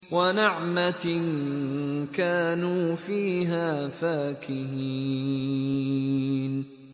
وَنَعْمَةٍ كَانُوا فِيهَا فَاكِهِينَ